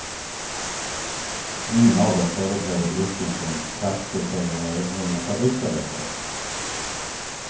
Ingen av dem företräder yrken som traktorförare eller fabriksarbetare.